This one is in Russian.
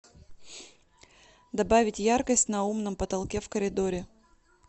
добавить яркость на умном потолке в коридоре